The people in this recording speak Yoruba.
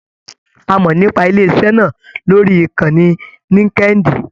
A mọ nípa ilé iṣẹ náà lórí ìkànnì Linkedin.